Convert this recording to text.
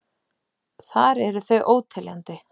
Þar eru þau óteljandi.